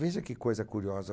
Veja que coisa curiosa.